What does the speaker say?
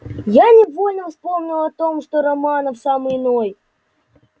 я невольно вспомнил о том что романов сам иной